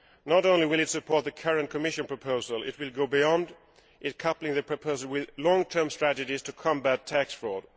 Not only will it support the current Commission proposal, it will go beyond in coupling the proposals with long term strategies to combat tax fraud.